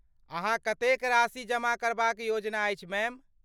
अहाँक कतेक राशि जमा करबाक योजना अछि, मैडम?